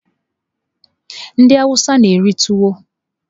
Ndị awụsa na-eri tuwo.